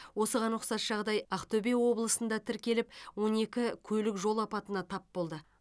осыған ұқсас жағдай ақтөбе облысында да тіркеліп он екі көлік жол апатына тап болды